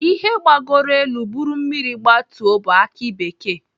Ihe gbagoro elu buru mmiri gbatuo bụ aki bekee.